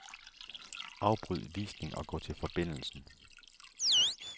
Afbryd visning og gå til forbindelsen.